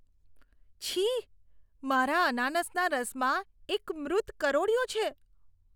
છી! મારા અનાનસના રસમાં એક મૃત કરોળિયો છે.